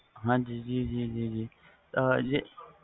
ਹਾਜੀ ਜੀ ਜੀ